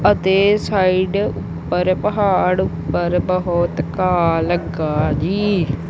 ਅਤੇ ਸਾਈਡ ਪਰ ਪਹਾੜ ਉੱਪਰ ਬਹੁਤ ਘਾਹ ਲੱਗਾ ਜੀ।